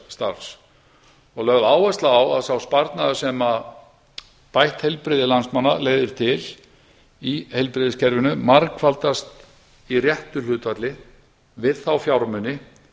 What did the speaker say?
félagsstarfs og lögð áhersla á að sá sparnaður sem bætt heilbrigði landsmanna legði til í heilbrigðiskerfinu margfaldast í réttu hlutfalli við þá fjármuni